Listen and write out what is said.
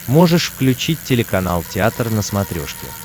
можешь включить телеканал театр на смотрешке